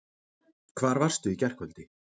Hvar varstu í gærkvöldi?